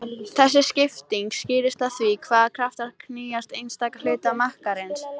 Þessi skipting skýrist af því hvaða kraftar knýja einstaka hluta makkarins.